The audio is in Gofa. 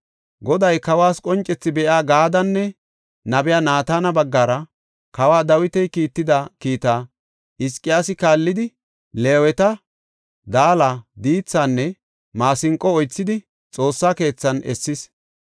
Goday kawas qoncethi be7iya Gaadenne nabiya Naatana baggara kawa Dawiti kiitida kiita Hizqiyaasi kaallidi, Leeweta, daala, diithinne maasinqo oythidi Xoossa keethan essis.